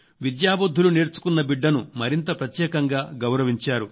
విద్యాబుధ్దులు నేర్చుకున్న బిడ్డను మరింత ప్రత్యేకంగా గౌరవించారు